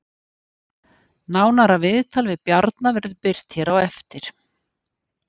Nánara viðtal við Bjarna verður birt hér á eftir